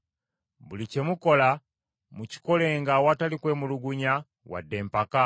Buli kye mukola mukikolenga awatali kwemulugunya wadde empaka,